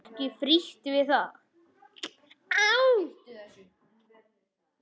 Ekki frítt við það!